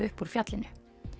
upp úr fjallinu